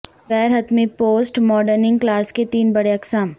غیر حتمی پوسٹ ماڈرننگ کلاز کے تین بڑے اقسام